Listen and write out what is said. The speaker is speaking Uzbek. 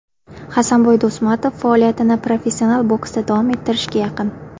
Hasanboy Do‘smatov faoliyatini professional boksda davom ettirishga yaqin.